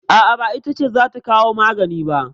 A'a, ba ita ce za ta kawo magani ba.